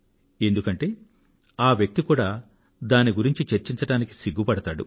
ఎందుకంటే ఆ వ్యక్తి కూడా దాని గురించి చర్చించడానికి సిగ్గుపడతాడు